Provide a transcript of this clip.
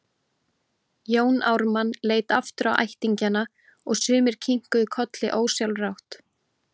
Jón Ármann leit aftur á ættingjana og sumir kinkuðu kolli ósjálfrátt.